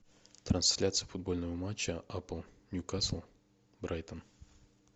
трансляция футбольного матча апл ньюкасл брайтон